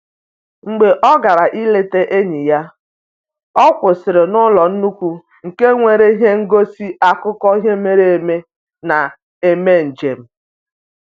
Mgbe ọ gara ileta enyi ya, ọ kwụsịrị n'ụlọ nnukwu nke nwere ihe ngosi akụkọ ihe mere eme na-eme njem